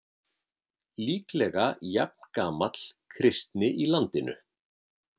Líklega jafngamall kristni í landinu.